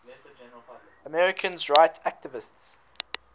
americans rights activists